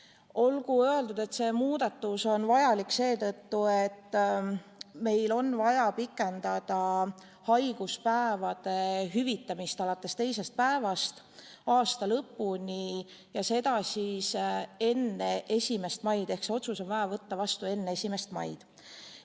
Olgu öeldud, et see muudatus on vajalik seetõttu, et meil on vaja pikendada haiguspäevade hüvitamist alates teisest päevast aasta lõpuni ja teha seda enne 1. maid ehk see otsus on vaja võtta vastu enne 1. maid.